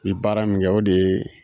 I baara min kɛ o de ye